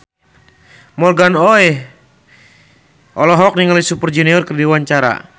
Morgan Oey olohok ningali Super Junior keur diwawancara